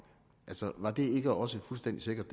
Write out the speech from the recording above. var det ikke også fuldstændig sikkert